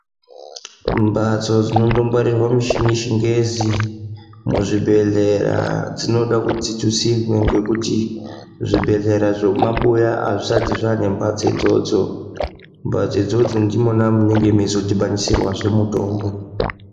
Mbatso dzinombongwarirwe mishini yechingezi muzvibhehlera dzinoda kuti dzitutsirwe ngekuti zvibhehlera zvemumabuya azvisati zvane mbatso idzodzo. Mbatso idzodzo ndimona munenge meizodhibanisirwazve mutombo